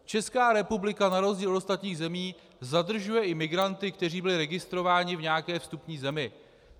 Česká republika na rozdíl od ostatních zemí zadržuje i migranty, kteří byli registrováni v nějaké vstupní zemi.